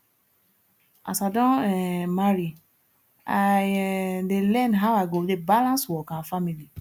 as i don um marry i um dey learn how i go dey balance work and family